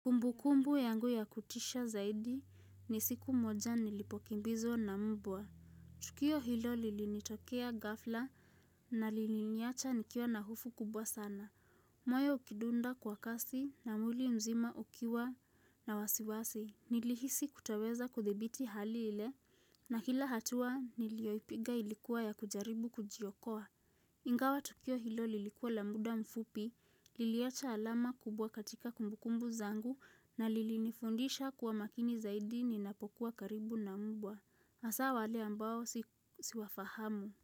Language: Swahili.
Kumbukumbu yangu ya kutisha zaidi ni siku moja nilipokimbizwa na mbwa. Tukio hilo lilinitokea ghafla na liliniacha nikiwa na hofu kubwa sana. Moyo ukidunda kwa kasi na mwili mzima ukiwa na wasiwasi. Nilihisi kutoweza kudhibiti hali ile na kila hatua nilioipiga ilikuwa ya kujaribu kujiokowa. Ingawa tukio hilo lilikuwa la muda mfupi, liliacha alama kubwa katika kumbukumbu zangu na lilinifundisha kuwa makini zaidi ninapokuwa karibu na mbwa. Hasaa wale ambao siwafahamu.